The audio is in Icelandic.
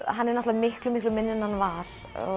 hann er miklu miklu minni en hann var